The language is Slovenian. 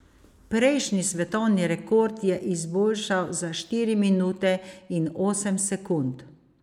Prejšnji svetovni rekord je izboljšal za štiri minute in osem sekund.